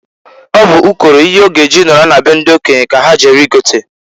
Ọ bụ ụkọrọ ihe ọ g' e ji nọrọ na be ndị okenye ka ha jere i gota.